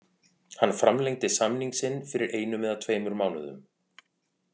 Hann framlengdi samning sinn fyrir einum eða tveimur mánuðum.